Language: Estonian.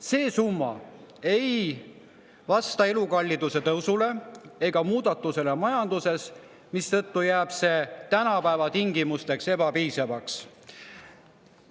See summa ei vasta elukalliduse tõusule ega muutustele majanduses, mistõttu jääb see tänapäeva tingimustes ebapiisavaks.